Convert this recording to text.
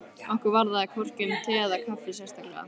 Okkur varðaði hvorki um te eða kaffi sérstaklega.